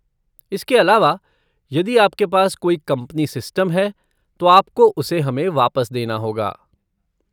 इसके अलावा, यदि आपके पास कोई कंपनी सिस्टम है तो आपको उसे हमें वापस देना होगा।